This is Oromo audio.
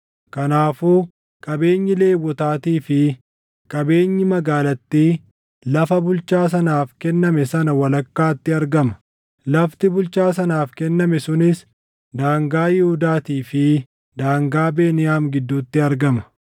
Kanaafuu qabeenyi Lewwotaatii fi qabeenyi magaalattii lafa bulchaa sanaaf kenname sana walakkaatti argama. Lafti bulchaa sanaaf kenname sunis daangaa Yihuudaatii fi daangaa Beniyaam gidduutti argama.